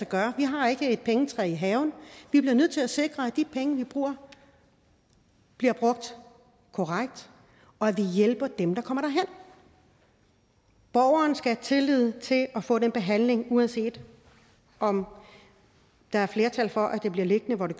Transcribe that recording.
gøre vi har ikke et pengetræ i haven og vi bliver nødt til at sikre at de penge vi bruger bliver brugt korrekt og at vi hjælper dem der kommer derhen borgerne skal have tillid til at få den behandling uanset om der er flertal for at det bliver liggende hvor det